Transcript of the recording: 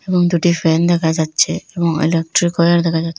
এবং দুটি ফ্যান দেখা যাচ্ছে এবং ইলেকট্রিক ওয়্যার দেখা যাচ্--